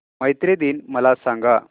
मैत्री दिन मला सांगा